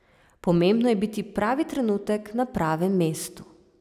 Pomembno je biti pravi trenutek na pravem mestu.